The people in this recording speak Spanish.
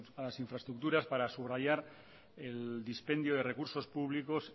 a las infraestructuras para subrayar el dispendio de recursos públicos